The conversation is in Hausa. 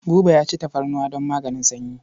Buba ya ci tafarnuwa don maganin sanyi.